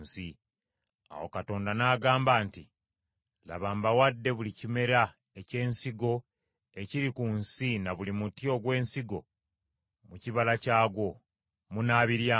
Awo Katonda n’agamba nti, “Laba mbawadde buli kimera eky’ensigo ekiri ku nsi na buli muti ogw’ensigo mu kibala kyagwo. Munaabiryanga.